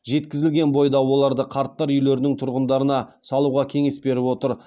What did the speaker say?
жеткізілген бойда оларды қарттар үйлерінің тұрғындарына салуға кеңес беріп отыр